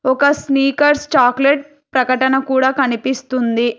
ఒక Snickers chocolate ప్రకటన కూడా కనిపిస్తుంది.